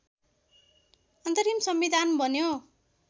अन्तरिम संविधान बन्यो